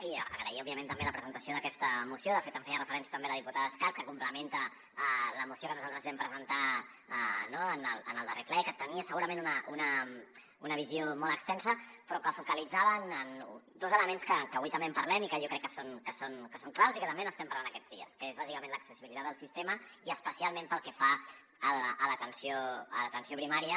i agrair òbviament també la presentació d’aquesta moció de fet en feia referència també la diputada escarp que complementa la moció que nosaltres vam presentar en el darrer ple que tenia segurament una visió molt extensa però que focalitzava en dos elements que avui també en parlem i que jo crec que són claus i que també n’estem parlant aquests dies que és bàsicament l’accessibilitat al sistema i especialment pel que fa a l’atenció primària